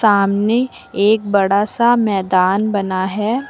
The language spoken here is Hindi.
सामने एक बड़ा सा मैदान बना है।